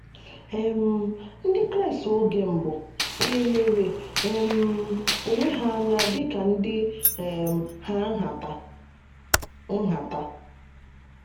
um Ndị Kraịst oge mbụ hà lere um onwe ha anya dị ka ndị um ha nhata? nhata?